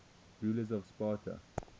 rulers of sparta